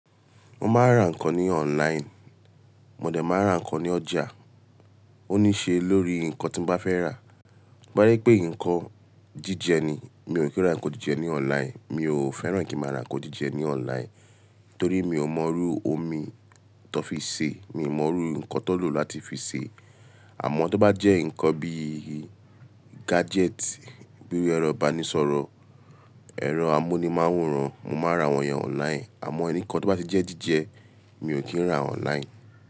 Mo máa ń ra nǹkan ní online, mòdẹ̀ máa n ra nǹkan ní ọjà. Ó ní ṣe lórí nǹkan tí n bá fẹ́ rà. Parí pé nǹkan jíjẹ ni, mi ò kí ń ra nǹkan jíjẹ ní online, mi ò fẹ́ràn kí n máa ra nǹkan jíjẹ ní online. Torí mi ò mọ irú omi tán fi ṣe, mi ò mọrú nǹkan tán lò láti fi sè é. Àmọ́ tó bá jẹ́ nǹkan bíi gadget, bíi ẹ̀rọ ìbánisọ̀rọ̀, ẹ̀rọ amúnimáwòrán, mo máa n ra wọ̀nyẹn online. Àmọ́ ẹniìkan tó bá ti jẹ́ jíjẹ mi ò kí ń rà online.